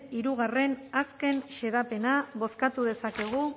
bigarren azken xedapena bozkatu dezakegu